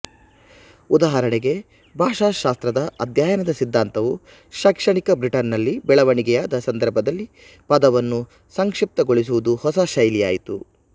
ಉದಾಹರಣೆಗೆ ಭಾಷಾಶಾಸ್ತ್ರದ ಅಧ್ಯಯನದ ಸಿದ್ಧಾಂತವು ಶೈಕ್ಷಣಿಕ ಬ್ರಿಟನ್ ನಲ್ಲಿ ಬೆಳವಣಿಗೆಯಾದ ಸಂದರ್ಭದಲ್ಲಿ ಪದವನ್ನು ಸಂಕ್ಷಿಪ್ತಗೊಳಿಸುವುದು ಹೊಸ ಶೈಲಿಯಾಯಿತು